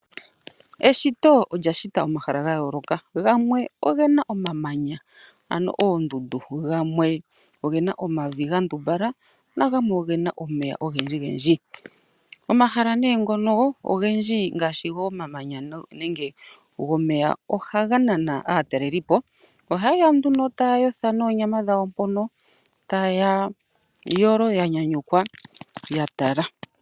Eshito olyashita omahala gayooloka. Gamwe ogena omamanya ano oondundu, gamwe ogena omavi gandumbala, nagamwe ogena omeya ogendji gendji. Omahala nee ngono ogendji ngaashi gomamanya nenge gomeya, ohaganana aatalelipo. Ohayeya nduno tayayotha noonyama dhawo mpono, tayayolo yanyanyukwa yatala.